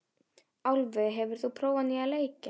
Álfey, hefur þú prófað nýja leikinn?